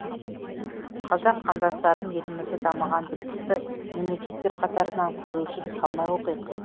қазақ қандастарым елімізді дамыған білікті мемлекеттер қатарынан көру үшін талмай оқиық